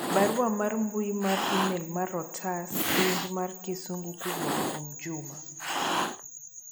barua mar mbui mar email mar otas penj mar kisungu kowuok kuom juma